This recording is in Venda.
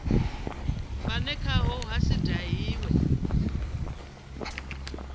vhune khaho ha si dahiwe